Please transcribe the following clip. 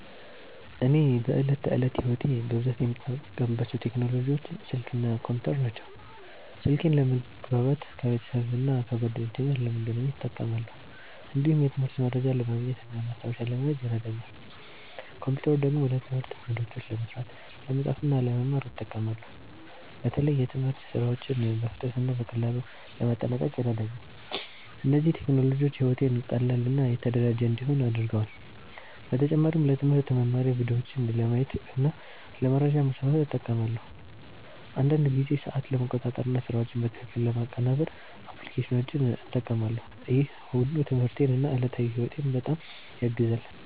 እኔ በዕለት ተዕለት ሕይወቴ በብዛት የምጠቀምባቸው ቴክኖሎጂዎች ስልክ እና ኮምፒውተር ናቸው። ስልኬን ለመግባባት ከቤተሰብና ከጓደኞቼ ጋር ለመገናኘት እጠቀማለሁ። እንዲሁም የትምህርት መረጃ ለማግኘት እና ማስታወሻ ለመያዝ ይረዳኛል። ኮምፒውተር ደግሞ ለትምህርት ፕሮጀክቶች ለመስራት፣ ለመጻፍ እና ለመማር እጠቀማለሁ። በተለይ የትምህርት ሥራዎችን በፍጥነት እና በቀላሉ ለማጠናቀቅ ይረዳኛል። እነዚህ ቴክኖሎጂዎች ሕይወቴን ቀላል እና የተደራጀ እንዲሆን አድርገዋል። በተጨማሪም ለትምህርት መማሪያ ቪዲዮዎችን ለማየት እና ለመረጃ ማስፋፋት እጠቀማለሁ። አንዳንድ ጊዜ ሰዓት ለመቆጣጠር እና ስራዎችን በትክክል ለማቀናበር አፕሊኬሽኖችን እጠቀማለሁ። ይህ ሁሉ ትምህርቴን እና ዕለታዊ ሕይወቴን በጣም ያግዛል።